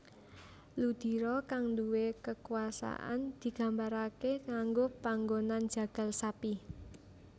Ludiro kang nduwe kekuwasaan digambarake nganggo panggonan jagal sapi